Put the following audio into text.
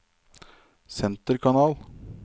senterkanal